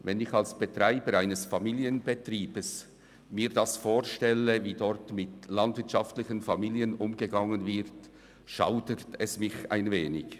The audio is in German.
Wenn ich mir als Betreiber eines Familienbetriebs vorstelle, wie dort mit landwirtschaftlichen Familien umgegangen wird, schaudert es mich ein wenig.